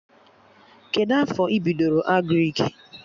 Kedụ afọ ị bidoro Agrịk?